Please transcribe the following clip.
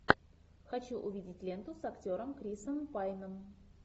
хочу увидеть ленту с актером крисом пайном